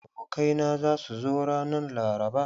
Abokai na za su zo ranan laraba.